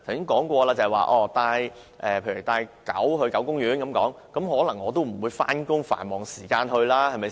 我剛才說過，如果要到狗公園遛狗，我都不會在上班、繁忙時間才去，對吧？